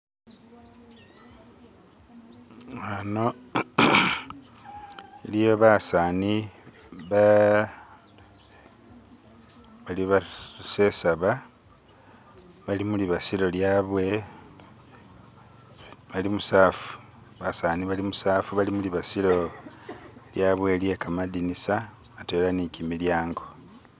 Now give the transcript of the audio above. ano iliyo basani bali basesaba bali mulibasilo lyabwe bali musafu basani bali musafu bali mulibasilo lyabwe lye kamadinisa atwela nikimilyango